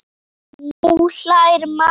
Nú hlær mamma.